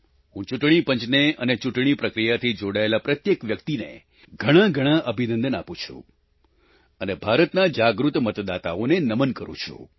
હું ચૂંટણી પંચને અને ચૂંટણી પ્રક્રિયાથી જોડાયેલા પ્રત્યેક વ્યક્તિને ઘણાઘણા અભિનંદન આપું છું અને ભારતના જાગૃત મતદાતાઓને નમન કરું છું